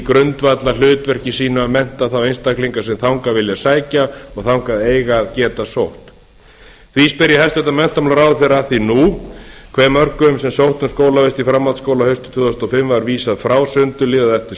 grundvallarhlutverki sínu að mennta á einstaklinga sem þangað vilja sækja og þangað eiga að geta sótt því spyr ég hæstvirtan menntamálaráðherra að því nú hve mörgum sem sóttu um skólavist í framhaldsskóla haustið tvö þúsund og fimm var vísað frá sundurliðað eftir